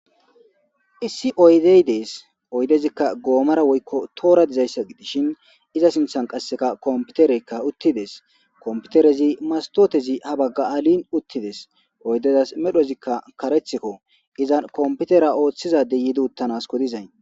issi oydey dees oydezikka goomara woykko toora dizayssa gidishin iza sinthan qasseka komputereykka uttides komputerezi mastotezi ha bagga alin uttides oydezas medhozikka karethikko izan komputera ooththizadey yiidi uttanasko dizay